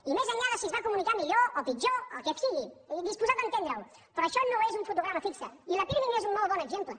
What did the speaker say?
i més enllà de si es va comunicar millor o pitjor el que sigui i disposat a entendre ho però això no és un fotograma fix i la pirmi n’és un bon exemple